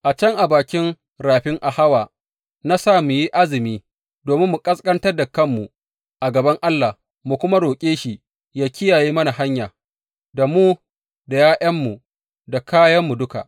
A can, a bakin rafin Ahawa, na sa mu yi azumi, domin mu ƙasƙantar da kanmu a gaban Allah, mu kuma roƙe shi yă kiyaye mana hanya, da mu da ’ya’yanmu da kayanmu duka.